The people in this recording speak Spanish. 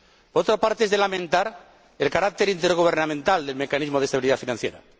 Por otra parte, es de lamentar el carácter intergubernamental del mecanismo de estabilidad financiera.